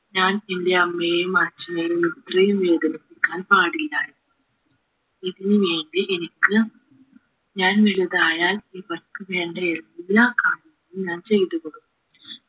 ഞാൻ എന്റെ അമ്മയെയും അച്ഛനെയും ഇത്രയും വേദനിപ്പിക്കാൻ പാടിലായിരുന്നു ഇതിനു വേണ്ടി എനിക്ക് ഞാൻ വലുതായാൽ ഇവർക്ക് വേണ്ട എല്ലാ കാര്യവും ഞാൻ ചെയ്തു കൊടുക്കും